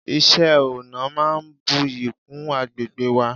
iṣẹ ọna máà ń buyì kún agbegbe wa